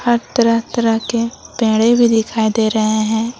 और तरह तरह के पेड़े भी दिखाई दे रहे हैं।